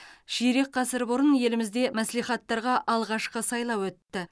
ширек ғасыр бұрын елімізде мәслихаттарға алғашқы сайлау өтті